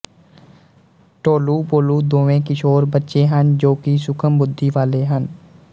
ਢੋਲੂਭੋਲੂ ਦੋਵੇਂ ਕਿਸ਼ੋਰ ਬੱਚੇ ਹਨ ਜੋ ਕਿ ਸੂਖ਼ਮ ਬੁੱਧੀ ਵਾਲੇ ਹਨ